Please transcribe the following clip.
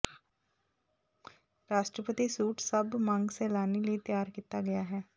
ਰਾਸ਼ਟਰਪਤੀ ਸੂਟ ਸਭ ਮੰਗ ਸੈਲਾਨੀ ਲਈ ਤਿਆਰ ਕੀਤਾ ਗਿਆ ਹੈ